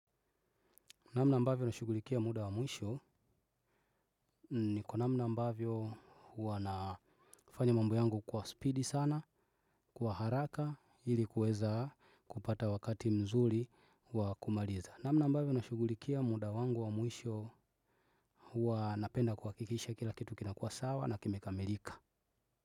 Namna ambavyo nashugulikia muda wa mwisho ni kwa namna ambavyo huwa nafanya mambo yangu kwa speedy sana, kwa haraka ili kuweza kupata wakati mzuri wa kumaliza. Namna ambavyo nashugulikia muda wangu wa mwisho huwa napenda kuhakikisha kila kitu kinakuwa sawa na kimekamelika.